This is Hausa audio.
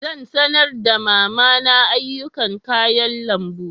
Zan sanar da mama na ayyukan kayan lambu.